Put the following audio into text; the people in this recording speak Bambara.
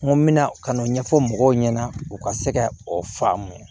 N ko n bɛna ka n'o ɲɛfɔ mɔgɔw ɲɛna u ka se ka o faamu